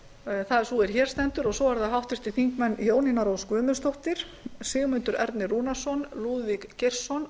það er sú er hér stendur og svo eru það háttvirtir þingmenn jónína rós guðmundsdóttir sigmundur ernir rúnarsson lúðvík geirsson